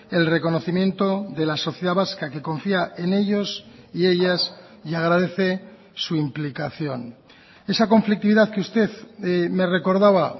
el reconocimiento de la sociedad vasca que confía en ellos y ellas y agradece su implicación esa conflictividad que usted me recordaba